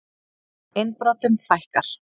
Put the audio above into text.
Innbrotum fækkar